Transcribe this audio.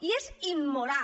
i és immoral